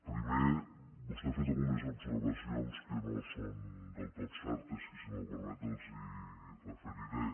primer vostè ha fet algunes observacions que no són del tot certes i si m’ho permet els les referiré